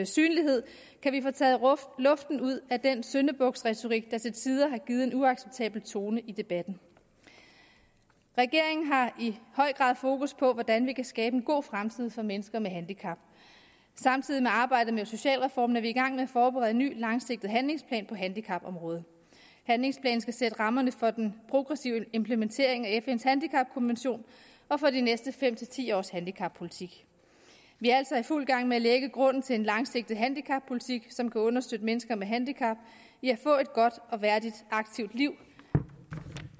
synlighed kan vi få taget luften ud af den syndebuksretorik der til tider har givet en uacceptabel tone i debatten regeringen har i høj grad fokus på hvordan vi kan skabe en god fremtid for mennesker med handicap samtidig med arbejdet med socialreformen er vi i gang med at forberede en ny langsigtet handlingsplan på handicapområdet handlingsplanen skal sætte rammerne for den progressive implementering af fns handicapkonvention og for de næste fem ti års handicappolitik vi er altså i fuld gang med at lægge grunden til en langsigtet handicappolitik som kan understøtte mennesker med handicap i at få et godt og værdigt og aktivt liv